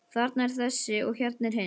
Þarna er þessi og hérna hinn.